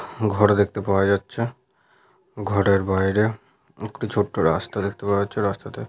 ঘর দেখতে পাওয়া যাচ্ছে। ঘরের বাইরে একটি ছোট্ট রাস্তা দেখতে পাওয়া যাচ্ছে। রাস্তাতে।